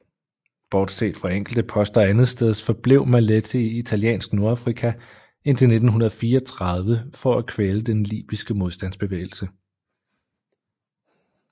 Bortset fra enkelte poster andetsteds forblev Maletti i Italiensk Nordafrika indtil 1934 for at kvæle den libyske modstandsbevægelse